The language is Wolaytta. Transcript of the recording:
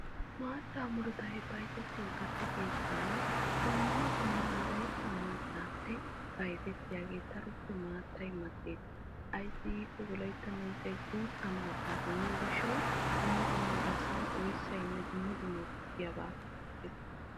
Maataa murutta bayzzettiyo keettan wolaytta miizza maattay keehippe mal'ees. Ayssi giikko wolaytta miizzay guuta maata immiyo gishawu.